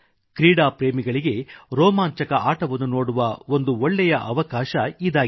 ಕ್ರೀಡಾ ಪ್ರೇಮಿಗಳಿಗೆ ರೋಮಾಂಚಕ ಆಟವನ್ನು ನೋಡುವ ಒಂದು ಒಳ್ಳೇ ಅವಕಾಶ ಇದಾಗಿದೆ